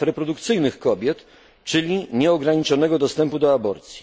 praw reprodukcyjnych kobiet, czyli nieograniczonego dostępu do aborcji.